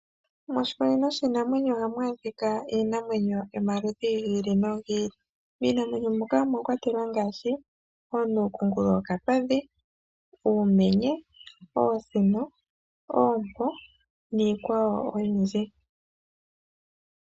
Moshikunino shiinamwenyo ohamu adhika iinamwenyo yomaludhi gi ili nogi ili, miinamwenyo muka omwakwatelwa ngaashi onuukungulu yokapadhi, uumenye, oontsino, oompo niikwawo oyindji.